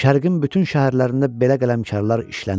Şərqin bütün şəhərlərində belə qələmkarlar işlənirdi.